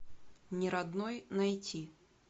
неродной найти